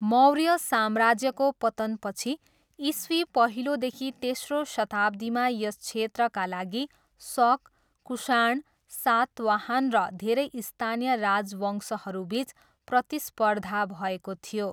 मौर्य साम्राज्यको पतनपछि, इस्वी पहिलोदेखि तेस्रो शताब्दीमा यस क्षेत्रका लागि शक, कुषाण, सातवाहन र धेरै स्थानीय राजवंशहरूबिच प्रतिस्पर्धा भएको थियो।